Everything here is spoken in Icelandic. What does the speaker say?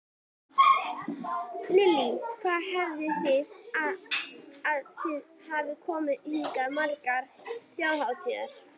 Lillý: Hvað haldið þið að þið hafið komið hingað margar þjóðhátíðar?